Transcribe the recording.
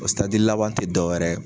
O laban tɛ dɔwɛrɛ ye.